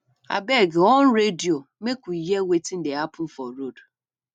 abeg on radio make we hear wetin dey happen for road